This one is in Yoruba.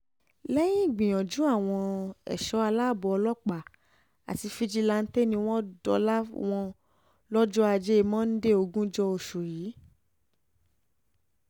lẹ́yìn ìgbìyànjú àwọn ẹ̀ṣọ́ aláàbọ̀ ọlọ́pàá àti fíjìláńtẹ̀ ni wọ́n dóòlà wọn lọ́jọ́ ajé monde ogúnjọ́ oṣù yìí